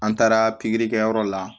An taara pikiri kɛyɔrɔ la